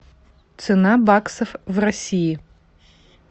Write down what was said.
цена баксов в россии